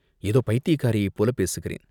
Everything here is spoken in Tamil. ஏதோ பைத்தியக்காரியைப் போலப் பேசுகிறேன்.